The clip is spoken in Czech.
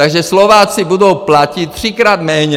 Takže Slováci budou platit třikrát méně.